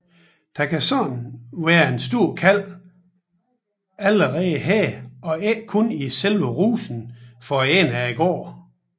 Der kan således være en stor kalv allerede her og ikke kun i selve rusen for enden af gården